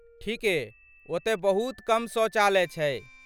ठीके, ओतय बहुत कम शौचालय छै।